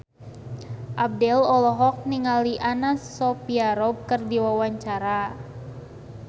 Abdel olohok ningali Anna Sophia Robb keur diwawancara